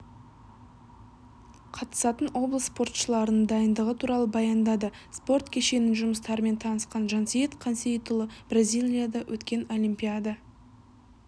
қатысатын облыс спортшыларының дайындығы туралы баяндады спорт кешенінің жұмыстарымен танысқан жансейіт қансейітұлы бризилияда өткен олимпиада